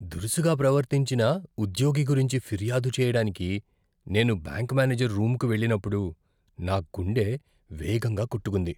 దురుసుగా ప్రవర్తించిన ఉద్యోగి గురించి ఫిర్యాదు చేయడానికి నేను బ్యాంక్ మేనేజర్ రూంకు వెళ్ళినప్పుడు నా గుండె వేగంగా కొట్టుకుంది.